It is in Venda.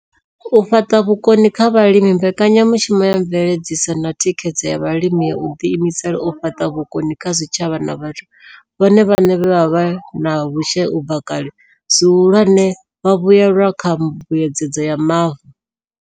U fhaṱa vhukoni kha vhalimi Mbekanya mushumo ya Mveledziso na Thikhedzo ya Vhalimi yo ḓiimisela u fhaṱa vhukoni kha zwitshavha na vhathu vhone vhaṋe vhe vha vha vhe na vhushai u bva kale, zwihulwane vhavhuelwa kha Mbuedzedzo ya Mavu.